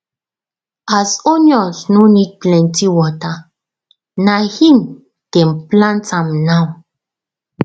as onions no need plenty water na him dem plant am now